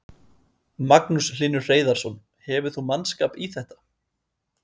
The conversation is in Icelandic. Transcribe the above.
Magnús Hlynur Hreiðarsson: Hefur þú mannskap í þetta?